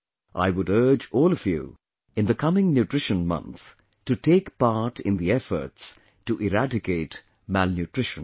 I would urge all of you in the coming nutrition month, to take part in the efforts to eradicate malnutrition